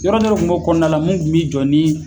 Yɔrɔ dɔ le kun b'o kɔnɔna la min kun bi jɔ ni